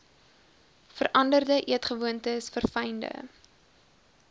veranderde eetgewoontes verfynde